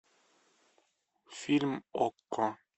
фильм окко